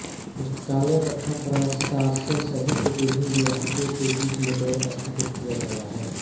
पुस्तकालय तथा प्रशासन सहित विभिन्न विभागों के बीच नेटवर्क स्थापित किया गया है